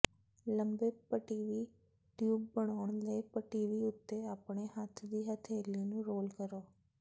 ਲੰਬੇ ਪਟੀਵੀ ਟਿਊਬ ਬਣਾਉਣ ਲਈ ਪਟੀਤੀ ਉੱਤੇ ਆਪਣੇ ਹੱਥ ਦੀ ਹਥੇਲੀ ਨੂੰ ਰੋਲ ਕਰੋ